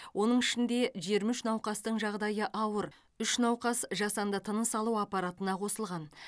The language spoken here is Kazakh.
оның ішінде жиырма үш науқастың жағдайы ауыр үш науқас жасанды тыныс алу аппаратына қосылған